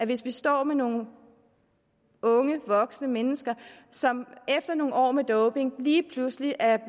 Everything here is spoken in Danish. hvis vi står med nogle unge voksne mennesker som efter nogle år med doping lige pludselig er